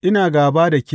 Ina gāba da ke,